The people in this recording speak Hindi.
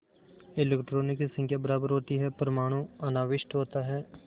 इलेक्ट्रॉनों की संख्या बराबर होती है परमाणु अनाविष्ट होता है